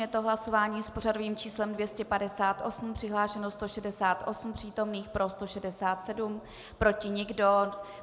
Je to hlasování s pořadovým číslem 258, přihlášeno 168 přítomných, pro 167, proti nikdo.